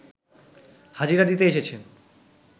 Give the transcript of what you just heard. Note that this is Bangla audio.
হাজিরা দিতে এসেছেন